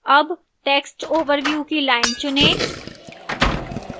अब text overview की line चुनें